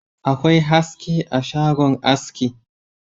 Akwai haske a shagon aski